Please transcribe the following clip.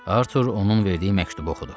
Artur onun verdiyi məktubu oxudu.